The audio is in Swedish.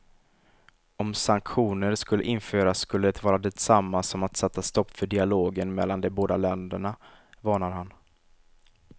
Om sanktioner skulle införas skulle det vara detsamma som att sätta stopp för dialogen mellan de båda länderna, varnar han.